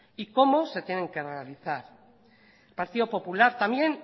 y cómo se tienen que realizar el partido popular también